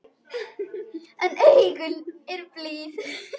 En augun eru blíð.